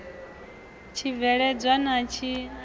tshibveledzwa a tshi na vhukhakhi